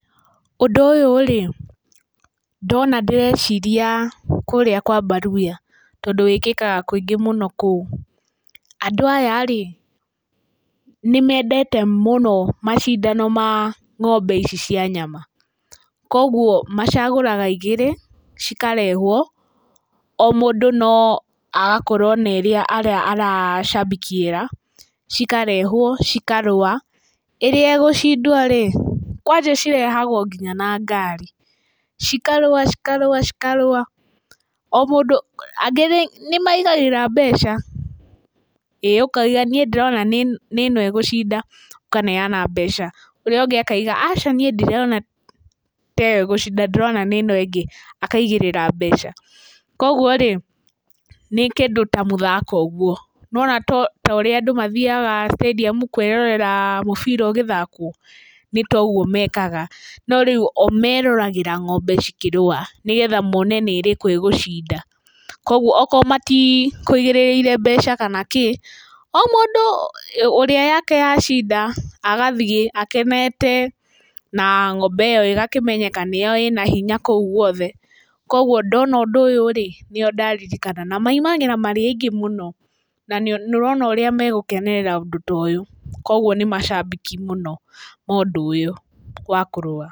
Ũndũ ũyũ rĩ ndona ndĩreciria kũrĩa kwa mbaruhia, tondũ wĩkĩkaga kaingĩ kũu. Andũ aya nĩmendete mũno macindano ma ng'ombe ici cia nyama, koguo macagũraga igĩrĩ ikarehwo, o mũndũ agakorwo na ĩrĩa aracambikiĩra cikarehwo cikarũa, ĩrĩa ĩgũcindwo rĩ, kwanja cirehagwo nginya na ngari cikarũa cikarũa cikarũa. O mũndũ, angĩ nĩmaigagĩrĩra nginya mbeca, ĩĩ ũkauga niĩ ndĩrona nĩ ĩno ĩgũcinda ũkaneyana mbeca, ũrĩa ũngĩ akaauga aca ndirona ta arĩ ĩyo ĩgũcinda ndĩrona ta arĩ ĩno ĩngĩ akaigĩrĩra mbeca. Koguo rĩ nĩ kĩndũ ta mũthako ũguo, nĩ wona ta ũrĩa andũ mathiyaga stadium kwĩrorera mũbira ũgĩthakwo. Nĩtaũguo mekaga, no rĩu o meroragĩra ng'ombe cikĩrũa nĩgetha mone nĩ ĩrĩkũ ĩgũcinda. Koguo akorwo matikũigĩrĩire mbeca kana kĩ, o mũndũ ũrĩa yake yacinda agathiĩ akenete, na ng'ombe ĩyo ĩgakĩmenyeka nĩyo ĩna hinya kũu guothe. Koguo ndona ũndũ ũyũ nĩo ndaririkana na maimagĩra marĩ aingĩ mũno. Na nĩũrona ũrĩa magũkenerera ũndũ ũyũ, koguo nĩ macambĩki mũno a ũndũ ũyũ wa kũrũa.